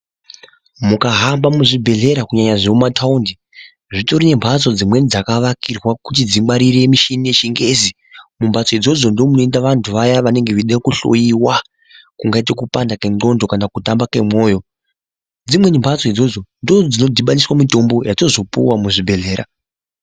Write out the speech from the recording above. Mukahamba muzvibhedhlera kunyanya zvemumataundi zvitori nembatso dzimweni dzakavakirwa kuti dzingwarire michini yechingezi. Mumbatso macho ndomunoenda vantu vaya vanenge veida kuhloiwa kungati kupanda kwengondxo kana kutamba kwemwoyo dzimweni mbatso ndodzino dhibanisa mitombo yatinozopuwa muzvibhedhlera.